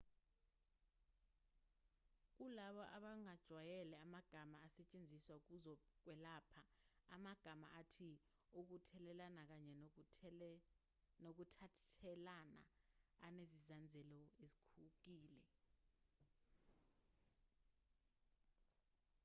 kulabo abangajwayele amagama asetshenziswa kwezokwelapha amagama athi ukuthelelana kanye nokuthathelana anezinzazelo ezikhukile